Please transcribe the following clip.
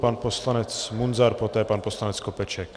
Pan poslanec Munzar, poté pan poslanec Skopeček.